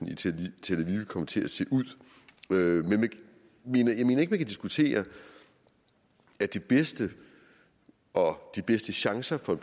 i tel aviv kommer til at se ud men jeg mener ikke vi kan diskutere at det bedste og de bedste chancer for